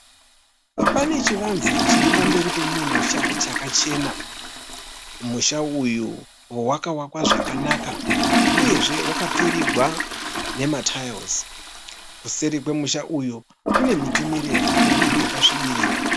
Pane chimwe chivanze chiri pamberi pemumwe musha chakachena. Musha uyu wakavakwa zvakanaka uyezve wakapfirirwa nema(tiles). Kuseri kwemusha uyu kune miti mirefu yakasvibirira.